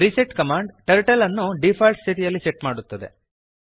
reset command turtle ಅನ್ನು default ಸ್ಥಿತಿಯಲ್ಲಿ set ಮಾಡುತ್ತದೆ